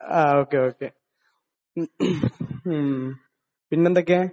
ആഹ്. Okay. Okay മ്മ്. പിന്നെ എന്തൊക്കെയാണ്?